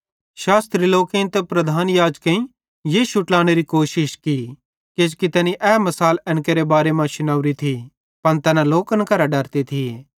शास्त्री लोकेईं ते प्रधान याजकेईं यीशु ट्लानेरी कोशिश की किजोकि तैना बुझ़ी जोरे थिये कि तैनी ए मिसाल एन केरे बारे मां शुनेवरी थी पन तैना लोकन करां डरते थिये